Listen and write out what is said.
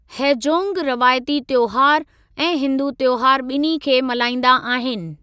हैजोंग रवायती तयोहारु ऐं हिन्दू तयोहारु ॿिन्ही खे मल्हाईंदा आहिनि।